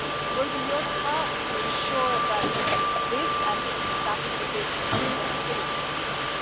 It will be your task to ensure this, and that is a big responsibility as well.